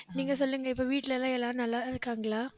நீங்க சொல்லுங்க இப்ப வீட்டுல எல்லாம் எல்லாரும் நல்லா இருக்காங்களா